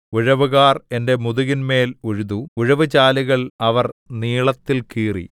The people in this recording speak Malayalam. ഉഴവുകാർ എന്റെ മുതുകിന്മേൽ ഉഴുതു ഉഴവു ചാലുകൾ അവർ നീളത്തിൽ കീറി